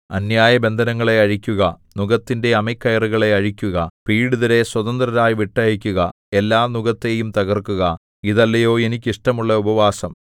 അന്യായബന്ധനങ്ങളെ അഴിക്കുക നുകത്തിന്റെ അമിക്കയറുകളെ അഴിക്കുക പീഡിതരെ സ്വതന്ത്രരായി വിട്ടയയ്ക്കുക എല്ലാ നുകത്തെയും തകർക്കുക ഇതല്ലയോ എനിക്ക് ഇഷ്ടമുള്ള ഉപവാസം